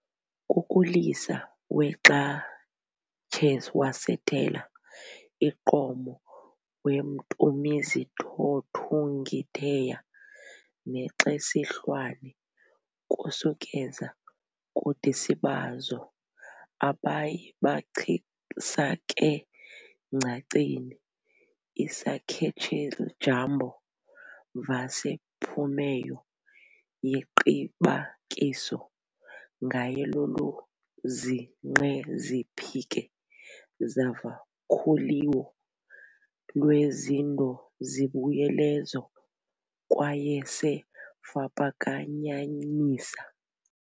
Kukulisa weXaChewasitela iQomo weMtumizithothung' iTheya neXesihlwane kusukeza kudisibazo-abayi bachisakengcaceni isakhets'Ijambo vhasePhumeyo yeqibakiso ngayeloluzinqeziphike zavakhuliwo lweZindozibuyelezo kwayeseFapakanyanisa